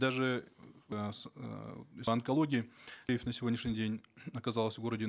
даже по онкологии тариф на сегодняшний день оказалось в городе